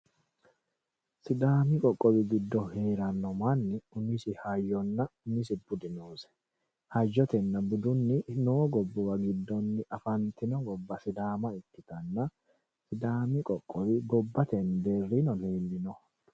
Sidaami qoqqowi giddo heerano manni umisi hayyonna umisi budi noosi hattono hayyotenna budunni noo gobbuwa giddonni afantino gobba sidaama ikkittanna ,sidaami qoqqowi gobbate deerininno leelinoho.